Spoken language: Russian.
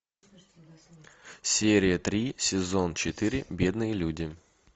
серия три сезон четыре бедные люди